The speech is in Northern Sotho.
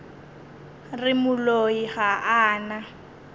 re moloi ga a na